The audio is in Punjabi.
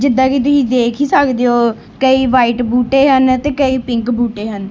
ਜਿੱਦਾਂ ਕਿ ਤੁਸੀਂ ਦੇਖ ਹੀ ਸਕਦੇ ਹੋ ਕਈ ਵ੍ਹਾਈਟ ਬੂਟੇ ਹਨ ਤੇ ਕਈ ਪਿੰਕ ਬੂਟੇ ਹਨ।